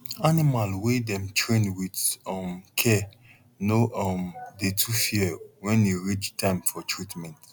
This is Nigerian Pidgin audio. animal wey dem train with um care no um dey too fear wen e reach time for treatment